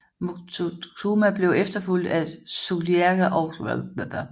Moctezuma blev efterfulgt af Cuitlahuac og Cuauhtemoc